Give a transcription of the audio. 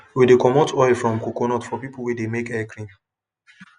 we de comot oil from coconut for people wey de make hair cream